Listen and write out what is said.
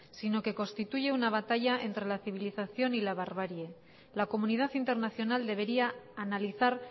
sino que constituye una batalla entre la civilización y la barbarie la comunidad internacional debería analizar